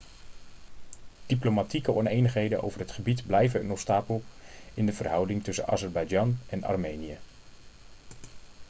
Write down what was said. diplomatieke onenigheden over het gebied blijven een obstakel in de verhoudingen tussen azerbeidzjan en armenië